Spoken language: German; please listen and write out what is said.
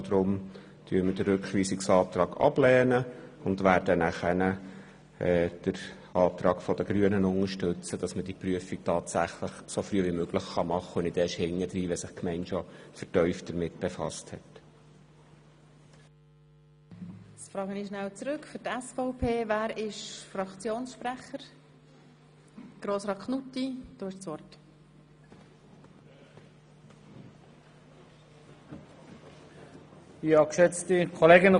Deshalb lehnen wir diesen ab, um nachher den Antrag der Grünen zu unterstützen, damit die Prüfung tatsächlich so früh wie möglich vorgenommen werden kann und nicht erst im Nachhinein, wenn sich die Gemeinde bereits vertieft befasst hat.